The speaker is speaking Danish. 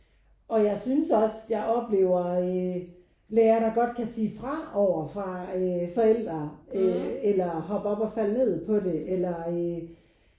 Og jeg synes også jeg oplever øh lærer der godt kan sige fra over fra øh forældre øh eller hop op og fald ned på det eller øh